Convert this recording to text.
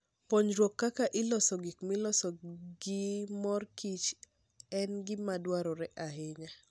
Puonjruok kaka iloso gik miloso gi mor kich en gima dwarore ahinya.